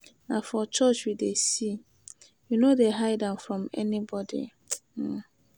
Na for church we dey see, we no dey hide am from anybody. um